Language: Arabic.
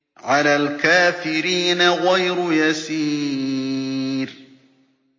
عَلَى الْكَافِرِينَ غَيْرُ يَسِيرٍ